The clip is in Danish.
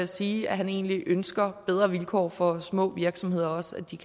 sige at han egentlig ønsker bedre vilkår for små virksomheder så de